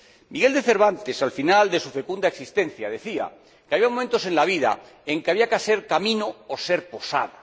Miguel de Cervantes, al final de su fecunda existencia, decía que había momentos en la vida en que había que ser camino o posada.